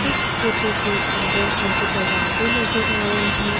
इस फोटो के अंदर मुझे दरवाजे नजर आ रहे हैं।